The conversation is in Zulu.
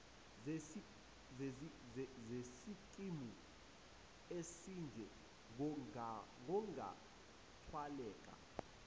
zesikimu esinje kungathwaleka